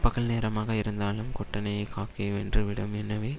பகல் நேரமாக இருந்தாலும் கோட்டனையைக் காக்கைவென்று விடும் எனவே